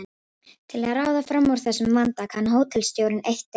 Til að ráða fram úr þessum vanda kann hótelstjórinn eitt ráð.